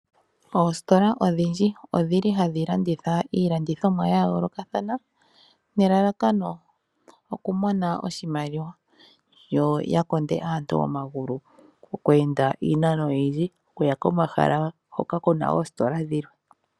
Oositola odhindji odhili hadhi landitha iilandithomwa yayoolokathana nelalakano okumona oshimaliwa yo yakonde aantu omagulu oku enda iinano oyindji okuya komahala hoka kuna oositola dhilwe.